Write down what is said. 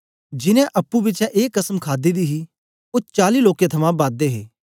जिनैं अप्पुं बिचें ए कसम खादी ही ओ चाली लोकें थमां बद हे